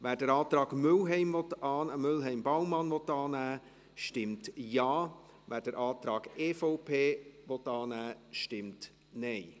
Wer den Antrag Mühlheim/Baumann annehmen will, der stimmt Ja, wer den Antrag EVP annehmen will, stimmt Nein.